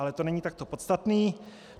Ale to není tak podstatné.